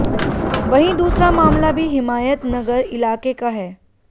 वहीं दूसरा मामला भी हिमायतनगर इलाके का है